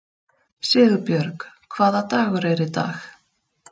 Sigurbjörg, hvaða dagur er í dag?